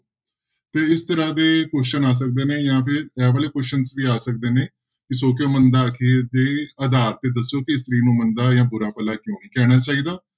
ਤੇ ਇਸ ਤਰ੍ਹਾਂ ਦੇ question ਆ ਸਕਦੇ ਨੇ ਜਾਂ ਫਿਰ ਇਹ ਵਾਲੇ questions ਵੀ ਆ ਸਕਦੇ ਨੇ ਵੀ ਸੌ ਕਿਉਂ ਮੰਦਾ ਆਖੀਐ ਦੇ ਆਧਾਰ ਤੇ ਦੱਸੋ ਕਿ ਇਸਤਰੀ ਨੂੰ ਮੰਦਾ ਜਾਂ ਬੁਰਾ ਭਲਾ ਕਿਉਂ ਨੀ ਕਹਿਣਾ ਚਾਹੀਦਾ।